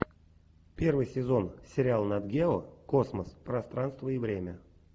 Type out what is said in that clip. первый сезон сериал нат гео космос пространство и время